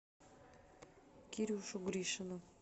кирюшу гришина